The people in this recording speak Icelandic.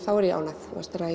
er ég ánægð